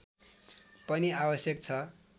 पनि आवश्यक छ